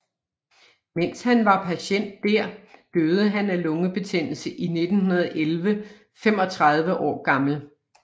Mens han var patient dér døde han af lungebetændelse i 1911 35 år gammel